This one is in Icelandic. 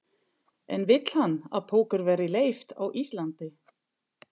En vill hann að póker verði leyft á Íslandi?